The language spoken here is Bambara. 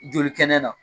Joli kɛnɛ na